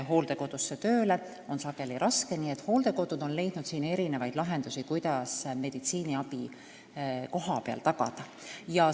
Hooldekodud on siin leidnud mitmesuguseid lahendusi, et tagada kohapeal meditsiiniabi.